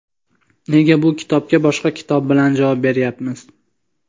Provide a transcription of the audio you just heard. nega bu kitobga boshqa kitob bilan javob bermayapmiz.